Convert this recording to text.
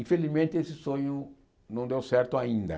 Infelizmente, esse sonho não deu certo ainda.